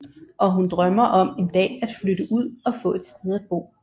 Og hun drømmer om en dag at flytte ud og få et sted at bo